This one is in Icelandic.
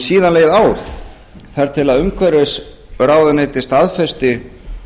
síðan leið ár þar til umhverfisráðuneytið staðfesti